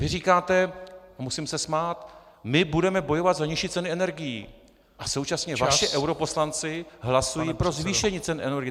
Vy říkáte, musím se smát, my budeme bojovat za nižší ceny energií - a současně vaši europoslanci hlasují pro zvýšení cen energie.